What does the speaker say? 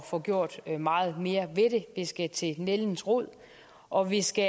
få gjort meget mere ved det vi skal til nældens rod og vi skal